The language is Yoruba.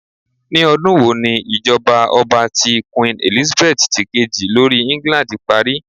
Ni ọdun wo ni ijọba ọba ti Queen Elizabeth ti keji lori England pari?